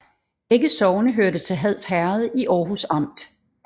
Begge sogne hørte til Hads Herred i Aarhus Amt